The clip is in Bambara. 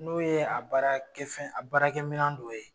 N'o ye a baarakɛfɛn a baara kɛ minan dɔ ye .